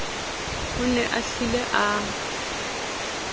o ne a hlile a